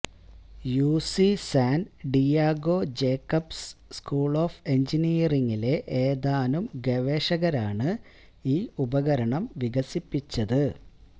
UC San Diego Jacobs school of എഞ്ചിനീയറിങിലെ ഏതാനും ഗവേഷകരാണ് ഈ ഉപകരണം വികസിപ്പിച്ചത്